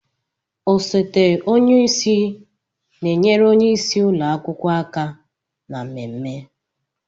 Osote onye isi na-enyere onye isi ụlọ akwụkwọ aka na mmemme.